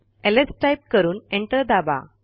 lsटाईप करून एंटर दाबा